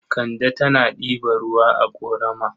Kande tana ɗiba ruwa a ƙorama.